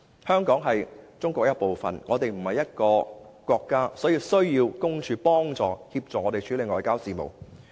香港不是一個國家，是中國的一部分，所以需要特派員公署幫助、協助處理外交事務。